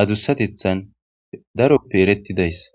adusatetan daro betidayisa